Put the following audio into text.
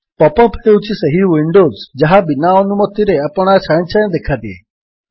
pop up ହେଉଛି ସେହି windows ଯାହା ବିନା ଅନୁମତିରେ ଆପଣା ଛାଏଁ ଛାଏଁ ଦେଖାଦିଏ